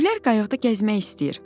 Gülər qayıqda gəzmək istəyir.